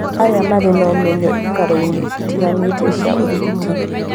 Arĩa marĩ na ũmenyo ikĩro-inĩ itiganĩte cia ũrigiti